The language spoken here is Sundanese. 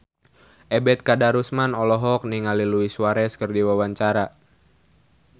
Ebet Kadarusman olohok ningali Luis Suarez keur diwawancara